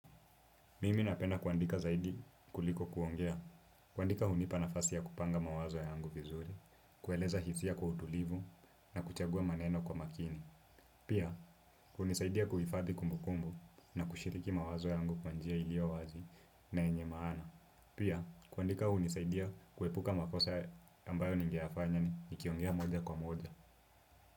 Mimi napenda kuandika zaidi kuliko kuongea, kuandika hunipa nafasi ya kupanga mawazo yangu vizuri, kueleza hisia kwa utulivu na kuchagua maneno kwa makini. Pia, hunisaidia kuhifadhi kumbukumbu na kushiriki mawazo yangu kwa njia iliyo wazi na yenye maana. Pia, kuandika hunisaidia kuepuka makosa ambayo ningeyafanya nikiongea moja kwa moja.